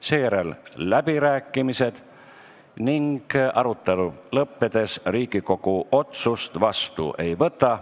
Seejärel on läbirääkimised ning arutelu lõppedes Riigikogu otsust vastu ei võta.